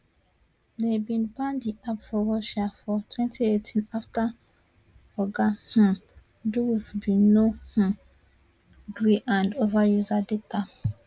dem bin ban di app for russia for twenty eighteen afta oga um durov bin no um gree hand over user data